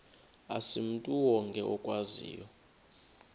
asimntu wonke okwaziyo